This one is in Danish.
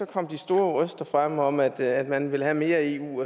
kom de store røster frem om at at man vil have mere eu